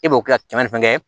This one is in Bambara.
E b'o kɛ ka kɛmɛ ni fɛn kɛ